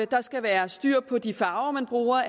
der skal være styr på de farver man bruger